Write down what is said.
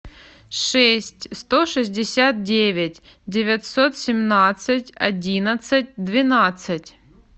шесть сто шестьдесят девять девятьсот семнадцать одиннадцать двенадцать